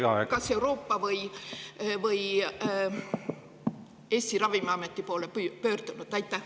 Kas te olete Euroopa või Eesti ravimiameti poole pöördunud?